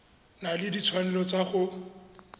na le ditshwanelo tsa go